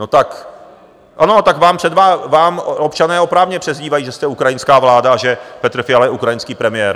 Ano, tak vám občané oprávněně přezdívají, že jste ukrajinská vláda a že Petr Fiala je ukrajinský premiér.